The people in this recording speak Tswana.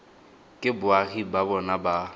ke boagi ba bona ba